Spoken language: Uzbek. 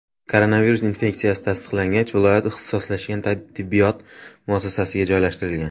Koronavirus infeksiyasi tasdiqlangach, viloyat ixtisoslashgan tibbiyot muassasasiga joylashtirilgan.